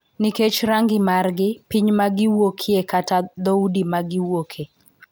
Nikech rangi margi, piny ma giwuokye kata dhoudi ma giwuoke.